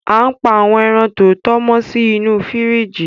Á n pa àwọn èràn tọtọ mọ si inú fìríjì